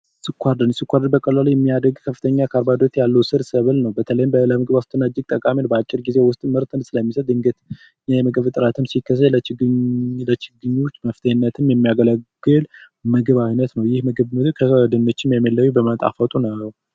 ስኳር ድንች ስኳር ድንች በቀላሉ የሚያድግ ከፍተኛ ፕሮቲን ያለው የስር ሰብል ነው በተለይም ከፍተኛ የምግብ ዋስትና ለማረጋገጥ በአጭር ጊዜ ምርትን ስለሚሰጥ የምግብ እጥረትም ሲከሰት በአጭር ጊዜ መፍትሄ ለመስጠት የሚያገለግል የምግብ አይነት ነው ይህ ምግብ ከድንች የሚለየው በመጣፈጡ ነው።